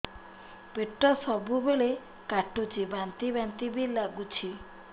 ପେଟ ସବୁବେଳେ କାଟୁଚି ବାନ୍ତି ବାନ୍ତି ବି ଲାଗୁଛି